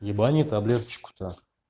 ебани таблеточку-то